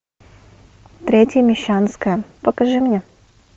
третья мещанская покажи мне